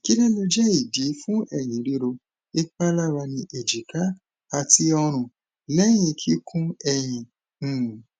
ki lo le jẹ idi fun eyin riro ipalara ni ejika ati ọrun lẹhin kikun eyin um